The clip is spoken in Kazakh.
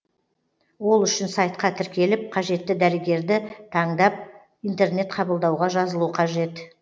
ол үшін сайтқа тіркеліп қажетті дәрігерді таңдап интернет қабылдауға жазылу қажет